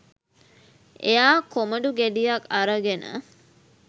එයා කොමඩු ගෙඩියක් අරගෙන